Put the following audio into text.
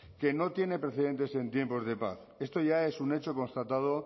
que no tiene precedentes en tiempos de paz esto ya es un hecho constatado